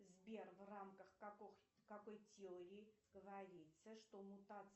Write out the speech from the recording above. сбер в рамках какой теории говорится что мутация